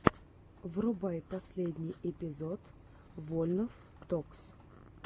врубай последний выпуск вольнов токс